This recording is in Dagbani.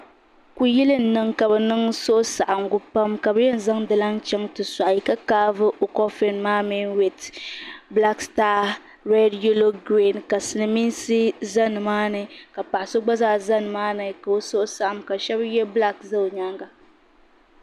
Kuyili n niŋ ka bi niŋ suhusaɣinga pam ka bi yɛn zaŋ di lana chaŋ ti sɔɣi ka kaavi o kɔfin mi wit bilaak sitaa rɛd yelo giriin ka silmiinsi za ni maa ni ka paɣa so gba zaa za ni maa ni ka o suhu saɣim ka shaba yɛ bilaak za o nyaanga.